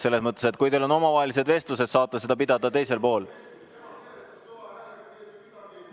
Selles mõttes, et kui teil on omavahelised vestlused, siis saate neid pidada teisel pool.